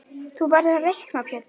Þú verður að reikna Pétur.